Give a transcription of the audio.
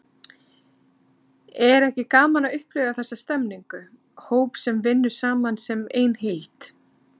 Er ekki gaman að upplifa þessa stemningu, hóp sem vinnur saman sem ein heild?